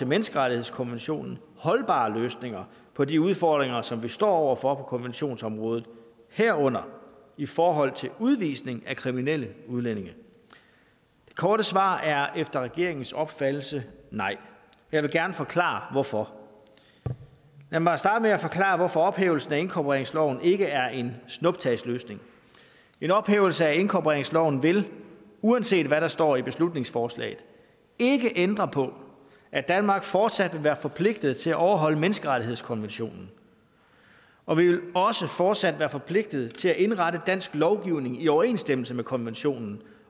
menneskerettighedskonventionen holdbare løsninger på de udfordringer som vi står over for på konventionsområdet herunder i forhold til udvisning af kriminelle udlændinge det korte svar er efter regeringens opfattelse nej jeg vil gerne forklare hvorfor lad mig starte med at forklare hvorfor ophævelsen af inkorporeringsloven ikke er en snuptagsløsning en ophævelse af inkorporeringsloven vil uanset hvad der står i beslutningsforslaget ikke ændre på at danmark fortsat vil være forpligtet til at overholde menneskerettighedskonventionen og vi vil også fortsat være forpligtet til at indrette dansk lovgivning i overensstemmelse med konventionen